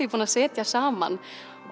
er búin að setja saman